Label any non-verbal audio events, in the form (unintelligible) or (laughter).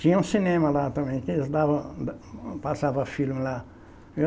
Tinha um cinema lá também, que eles davam da passavam filme lá. (unintelligible)